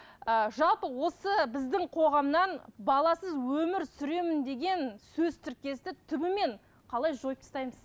ы жалпы осы біздің қоғамнан баласыз өмір сүремін деген сөз тіркесін түбімен қалай жойып тастаймыз